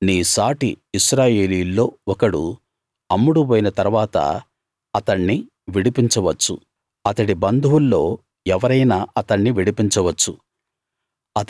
నీ సాటి ఇశ్రాయేలీయుల్లో ఒకడు అమ్ముడుబోయిన తరువాత అతణ్ణి విడిపించ వచ్చు అతడి బంధువుల్లో ఎవరైనా అతణ్ణి విడిపించవచ్చు